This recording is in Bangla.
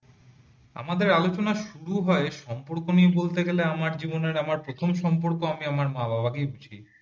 আমাদের আলোচনা শুরু হয় সম্পর্ক নিয়ে বলতে গেলে আমার জীবনে আমার প্রথম সম্পর্ক আমি আমার মা বাবা কেই বুঝাই